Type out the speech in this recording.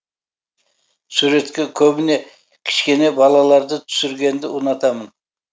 суретке көбіне кішкене балаларды түсіргенді ұнатамын